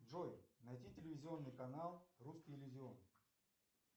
джой найди телевизионный канал русский иллюзион